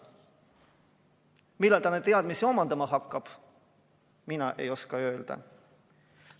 Millal ta neid teadmisi omandama hakkab, mina ei oska öelda.